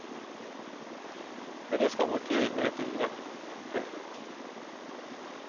Hur det ska gå till vet ingen. punkt